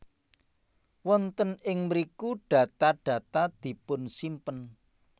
Wonten ing mriku data data dipunsimpen